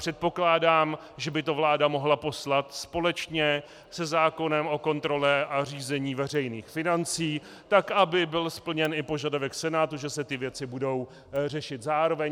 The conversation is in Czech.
Předpokládám, že by to vláda mohla poslat společně se zákonem o kontrole a řízení veřejných financí, tak aby byl splněn i požadavek Senátu, že se ty věci budou řešit zároveň.